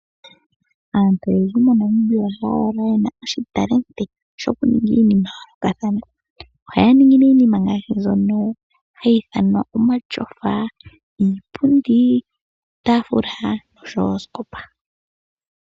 Aantu oyendji moNamibia ohaya kala yena oshitalenti sho ku ninga iinima ya yoolokathana. Ohaya ningi nee iinima ngaashi mbyono hayi ithanwa omashofa, iipundi, iitaafula nosho woo oosikopa.